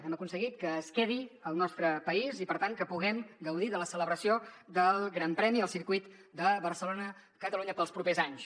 hem aconseguit que es quedi al nostre país i per tant que puguem gaudir de la celebració del gran premi al circuit de barcelona catalunya els propers anys